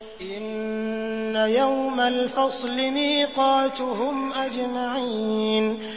إِنَّ يَوْمَ الْفَصْلِ مِيقَاتُهُمْ أَجْمَعِينَ